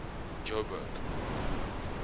joburg